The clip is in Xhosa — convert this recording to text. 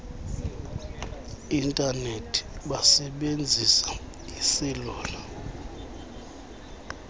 intanethi besebenzisa iiselula